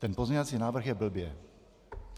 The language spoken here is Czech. Ten pozměňovací návrh je blbě.